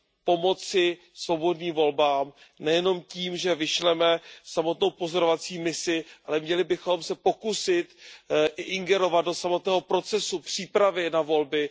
Pomoci svobodným volbám nejenom tím, že vyšleme samotnou pozorovací misi, ale měli bychom se pokusit zasahovat do samotného procesu přípravy na volby.